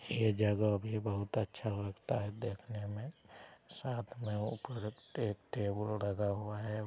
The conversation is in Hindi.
ये जगह भी बहुत अच्छा लगता है देखने में| साथ में ऊपर टे टेबल लगा हुआ है।